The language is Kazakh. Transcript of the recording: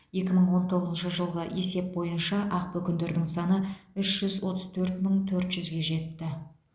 екі мың он тоғызыншы жылғы есеп бойынша ақбөкендердің саны үш жүз отыз төрт мың төрт жүзге жетті